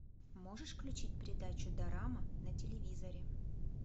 можешь включить передачу дорама на телевизоре